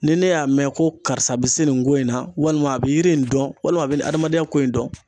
Ni ne y'a mɛn ko karisa be se nin ko in na, walima a be yiri in dɔn walima a be adamadenya ko in dɔn